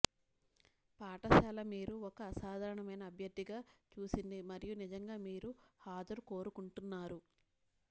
పాఠశాల మీరు ఒక అసాధారణమైన అభ్యర్థిగా చూసింది మరియు నిజంగా మీరు హాజరు కోరుకుంటున్నారు